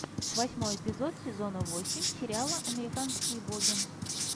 восьмой эпизод сезона восемь сериала американские боги